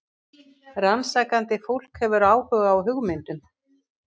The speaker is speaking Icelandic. Rannsakandi fólk hefur áhuga á hugmyndum.